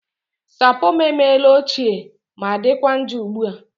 Sapo m emela ochie ma dịkwa njọ ugbu a